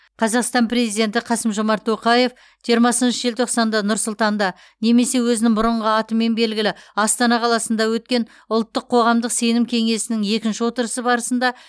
қазақстан президенті қасым жомарт тоқаев жиырмасыншы желтоқсанда нұр сұлтанда немесе өзінің бұрынғы атымен белгілі астана қаласында өткен ұлттық қоғамдық сенім кеңесінің екінші отырысы барысында